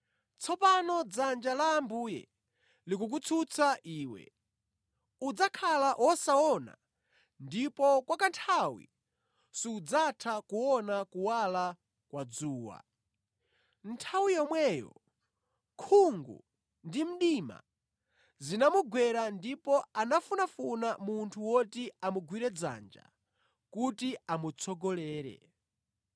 Tsopano dzanja la Ambuye likukutsutsa iwe. Udzakhala wosaona ndipo kwa kanthawi sudzatha kuona kuwala kwa dzuwa.” Nthawi yomweyo khungu ndi mdima zinamugwera ndipo anafunafuna munthu woti amugwire dzanja kuti amutsogolere.